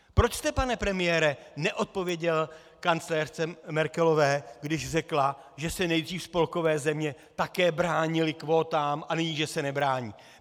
Proč jste, pane premiére, neodpověděl kancléřce Merkelové, když řekla, že se nejdřív spolkové země také bránily kvótám a nyní že se nebrání.